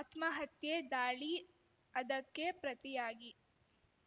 ಆತ್ಮಹತ್ಯೆ ದಾಳಿ ಅದಕ್ಕೆ ಪ್ರತಿಯಾಗಿ